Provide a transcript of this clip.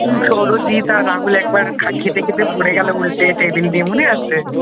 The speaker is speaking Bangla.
সৌরজিত আর রাহুল একবার খেতে খেতে পড়ে গেল উল্টে টেবিল দিয়ে মনে আছে?